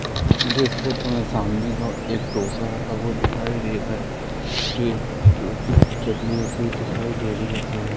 मुझे सामने एक डोसा रखा हुआ दिखाई दे रहा है चटनी राखी दिखाई दे रही है सामने--